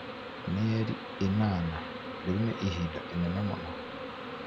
mĩeri ĩnana, rĩu nĩ ihinda inene mũno